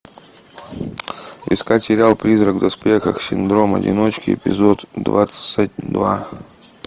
искать сериал призрак в доспехах синдром одиночки эпизод двадцать два